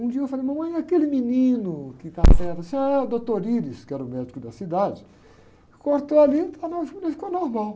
Um dia eu falei, mamãe, e aquele menino que estava, ah, o doutor, que era o médico da cidade, cortou ali, e ficou normal.